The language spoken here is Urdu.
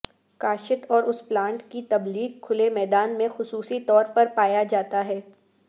کاشت اور اس پلانٹ کی تبلیغ کھلے میدان میں خصوصی طور پر پایا جاتا ہے